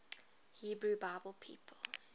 hebrew bible people